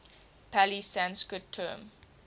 pali sanskrit term